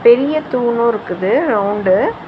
பெரிய தூணு இருக்குது ரவுண்டு .